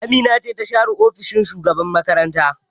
Amina ce ta share ofishin shugaban makaranta